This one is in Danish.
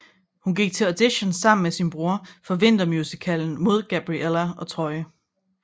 Hun går til audition sammen med sin bror for vintermusicalen mod Gabriella og Troy